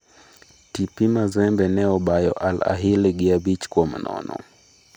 TP Mazembe ne obayo Al Ahili gi abich kuom nono.